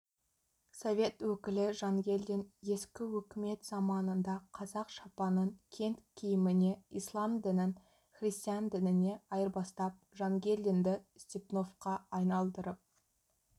совет өкілі жангелдин ескі өкімет заманында қазақ шапанын кент киіміне ислам дінін христиан дініне айырбастап жангелдинді степновқа айналдырып